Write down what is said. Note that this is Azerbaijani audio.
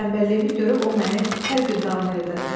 Tənbəlliyimi görüb o məni hər gün danlayırdı.